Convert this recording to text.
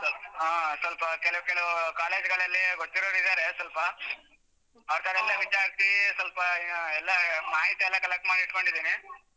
ಹಾ ಸ್ವಲ್ಪ ಕೆಲವ್ ಕೆಲವ್ college ಗಳಲ್ಲಿ ಗೊತ್ತಿರೋವ್ರು ಇದ್ದಾರೆ ಸ್ವಲ್ಪ ಅವರ್ ವಿಚಾರಿಸಿ ಸ್ವಲ್ಪ ಎಲ್ಲ ಮಾಹಿತಿ ಎಲ್ಲ collect ಮಾಡಿ ಇಟ್ಕೊಂಡಿದ್ದಿನಿ.